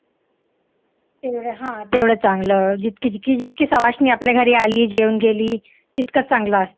तेवढं हा तेवढं चांगलं जितकी सवाष्णी आपल्या घरी आली, जेवून गेली तितकं चांगलं असतं.